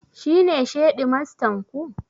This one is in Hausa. Shi ne shedimastan ku?